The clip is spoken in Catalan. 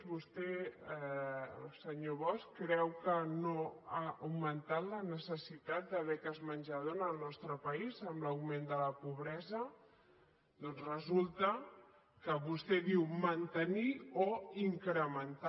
vostè senyor bosch creu que no ha augmentat la necessitat de beques menjador al nostre país amb l’augment de la pobresa doncs resulta que vostè diu mantenir o incrementar